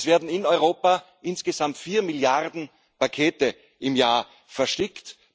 Es werden in Europa insgesamt vier Milliarden Pakete im Jahr verschickt.